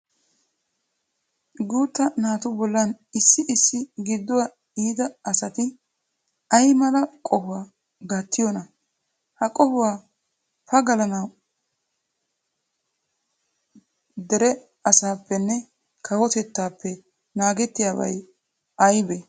Guutta naatu bollan issi issi gidduwa iita asati ay mala qohuwa gattiyonaa? Ha qohuwa pagalanawu Derek asaappenne kawotettaappe naagettiyabay aybee?